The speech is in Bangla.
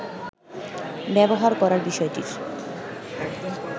ব্যবহার করার বিষয়টির